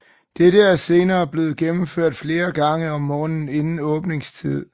Dette er senere blevet gennemført flere gange om morgenen inden åbningstid